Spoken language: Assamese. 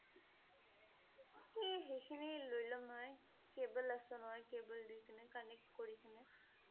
এ সেইখিনি লৈ লম মই । cable আছে নহয় cable দি কেনে connect কৰি কেনে